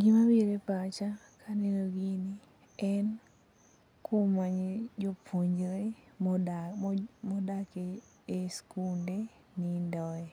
Gima biro e pacha kaneno gini en kuma jopuonjre modak e sikunde nindoe.